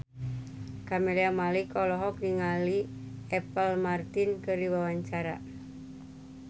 Camelia Malik olohok ningali Apple Martin keur diwawancara